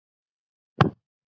Enginn veit fyrir hvað.